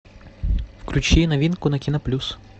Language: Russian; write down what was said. включи новинку на кино плюс